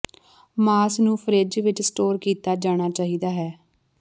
ਮਾਸ ਨੂੰ ਫਰਿੱਜ ਵਿੱਚ ਸਟੋਰ ਕੀਤਾ ਜਾਣਾ ਚਾਹੀਦਾ ਹੈ